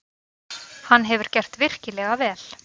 Hann hefur gert virkilega vel.